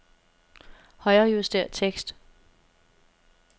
Højrejuster tekst.